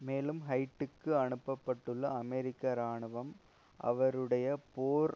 மேலும் ஹைட்டிக்கு அனுப்பப்பட்டுள்ள அமெரிக்க இராணுவம் அவரையும் போர்